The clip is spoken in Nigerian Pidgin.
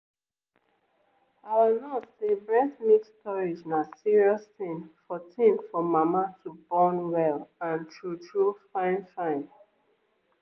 our nurse say breast milk storage na serious thing for thing for mama to born well and true true fine fine.